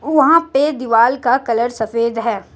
वहां पे दीवाल का कलर सफेद है।